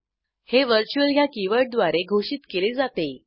हे व्हर्च्युअल ह्या कीवर्डद्वारे घोषित केले जाते